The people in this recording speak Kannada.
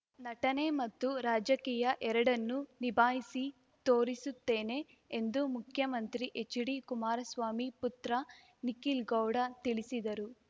ನಟನೆ ಮತ್ತು ರಾಜಕೀಯ ಎರಡನ್ನು ನಿಭಾಯಿಸಿ ತೋರಿಸುತ್ತೇನೆ ಎಂದು ಮುಖ್ಯಮಂತ್ರಿ ಎಚ್‌ಡಿಕುಮಾರಸ್ವಾಮಿ ಪುತ್ರ ನಿಖಿಲ್‌ ಗೌಡ ತಿಳಿಸಿದರು